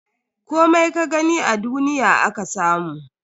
Komai ka gani a duniya aka samu.